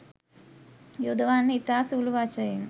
යොදවන්නේ ඉතා සුළු වශයෙනි